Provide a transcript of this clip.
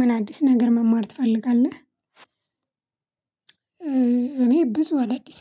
ምን አዲስ ነገር መማር ትፈልጋለህ? እኔ ብዙ አዳዲስ